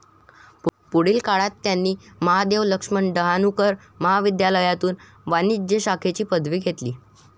पुढील काळात त्यांनी महादेव लक्ष्मन डहाणूकर महाविध्यालायातून वाणिज्य शाखेची पदवी घेतली.